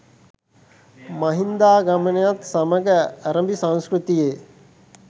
මහින්දාගමනයත් සමඟ ඇරඹි සංස්කෘතියේ